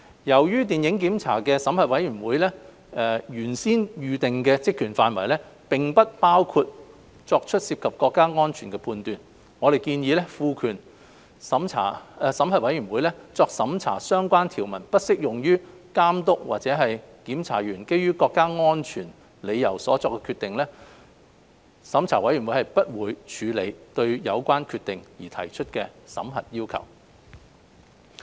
由於審核委員會的原先預定職權範圍，並不包括作出涉及國家安全的判斷，我們建議審核委員會作審核的相關條文不適用於監督或檢查員基於國家安全理由所作的決定，即審核委員會不會處理對有關決定而提出的審核要求。